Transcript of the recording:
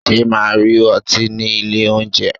Ṣé màá rí ọtí ní ilé oúnjẹ.